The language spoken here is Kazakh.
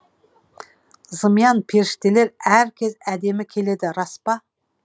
зымиян періштелер әркез әдемі келеді рас па